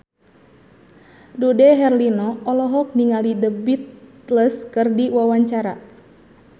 Dude Herlino olohok ningali The Beatles keur diwawancara